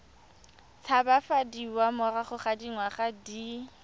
tshabafadiwa morago ga dingwaga di